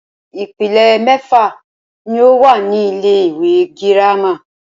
Ìpele mẹ́fà ní o wà ní ilé ìwé gírámà.